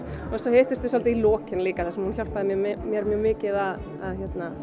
hittumst við í lokin líka þar sem hún hjálpaði mér mér mjög mikið að